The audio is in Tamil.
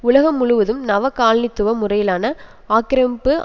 உலகம் முழுவதும் நவகாலனித்துவ முறையிலான ஆக்கிரமிப்பு